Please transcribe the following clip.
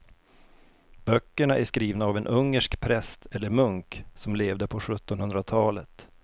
Böckerna är skrivna av en ungersk präst eller munk som levde på sjuttonhundratalet.